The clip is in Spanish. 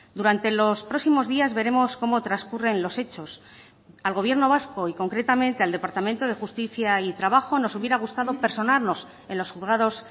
durante los próximos días veremos cómo transcurren los hechos al gobierno vasco y concretamente al departamento de justicia y trabajo nos hubiera gustado personarnos en los juzgados